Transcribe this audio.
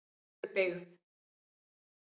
Vesturbyggð